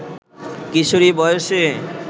কিশোরী বয়সে